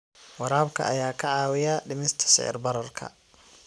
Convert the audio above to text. Waraabka ayaa ka caawiya dhimista sicir bararka.